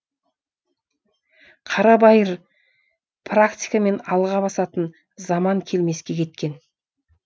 қарабайыр практикамен алға басатын заман келмеске кеткен